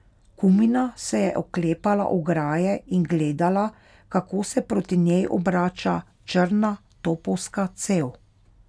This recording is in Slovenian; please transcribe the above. Kumina se je oklepala ograje in gledala, kako se proti njej obrača črna topovska cev.